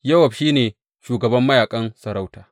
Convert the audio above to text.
Yowab shi ne shugaban mayaƙan masarauta.